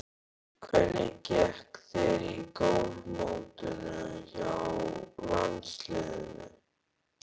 Hvernig gekk þér í golfmótinu hjá landsliðinu?